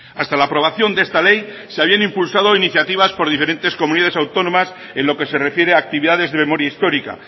hasta la aprobación de esta ley se habían impulsado iniciativas por diferentes comunidades autónomas en lo que se refiere a actividades de memoria histórica